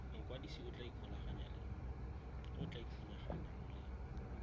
mokwadise a tla ikgolaganyang le